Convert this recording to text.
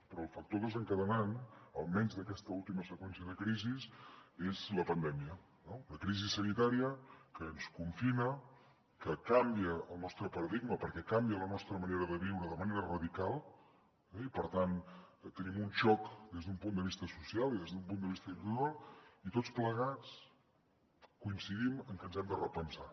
però el factor desencadenant almenys d’aquesta última seqüència de crisis és la pandèmia no una crisi sanitària que ens confina que canvia el nostre paradigma perquè canvia la nostra manera de viure de manera radical i per tant tenim un xoc des d’un punt de vista social i des d’un punt de vista individual i tots plegats coincidim en que ens hem de repensar